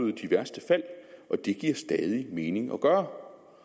værste fald og det giver stadig mening at gøre